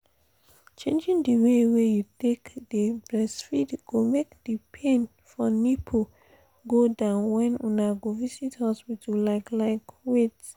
changing the way wey you take dey breastfeed go make the pain for nipple go down when una go visit hospital like like wait